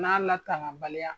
N'a latanga baliya.